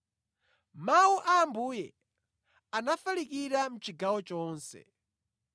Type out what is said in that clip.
Mawu a Ambuye anafalikira mʼchigawo chonse.